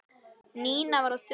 Nína var á þönum.